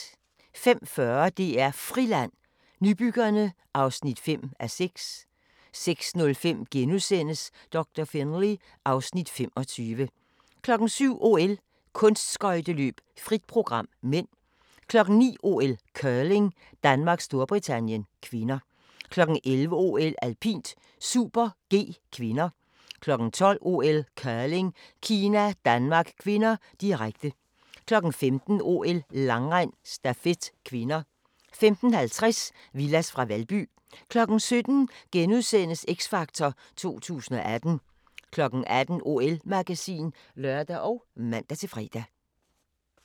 05:40: DR Friland: Nybyggerne (5:6) 06:05: Doktor Finlay (Afs. 25)* 07:00: OL: Kunstskøjteløb - frit program (m) 09:00: OL: Curling - Danmark-Storbritannien (k) 11:00: OL: Alpint - super-G (k) 12:00: OL: Curling - Kina-Danmark (k), direkte 15:00: OL: Langrend - stafet (k) 15:50: Villads fra Valby 17:00: X Factor 2018 * 18:00: OL-magasin (lør og man-fre)